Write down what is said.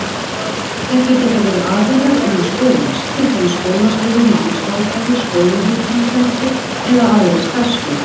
Þetta geta verið aðilar innan skólans, til dæmis skólastjóri, námsráðgjafi, skólahjúkrunarfræðingur eða aðrir starfsmenn.